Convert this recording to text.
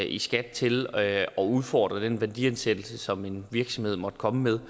i skat til at udfordre den værdiansættelse som en virksomhed måtte komme med